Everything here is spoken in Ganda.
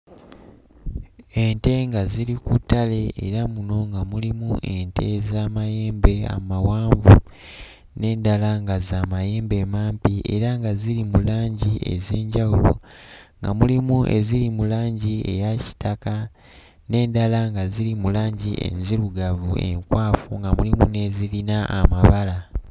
Ente nga ziri ku ttale era muno nga mulimu ente ez'amayambe amawanvu n'endala nga za mayembe mampi era nga ziri mu langi ez'enjawulo. Nga mulimu eziri mu langi eya kitaka, n'endala nga ziri mu langi enzirugavu enkwafu nga mulimu n'ezirina amabala.